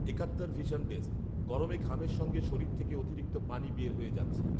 একাত্তর vision desk, গরমে ঘামের সঙ্গে শরীর থেকে অতিরিক্ত পানি বের হয়ে যাচ্ছে